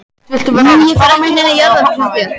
Nei ég fer ekki í neina jarðarför hjá þér.